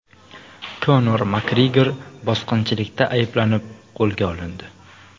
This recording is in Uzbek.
Konor Makgregor bosqinchilikda ayblanib qo‘lga olindi.